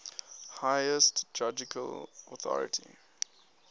highest judicial authority